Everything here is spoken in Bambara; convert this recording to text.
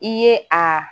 I ye a